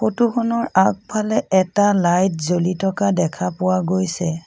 Photo খনৰ আগফালে এটা লাইট জ্বলি থকা দেখা পোৱা গৈছে।